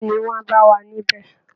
Bẹẹni, wọ́n á bá wa níbẹ̀